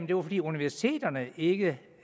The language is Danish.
det var fordi universiteterne ikke